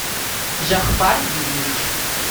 жахпар юрьевич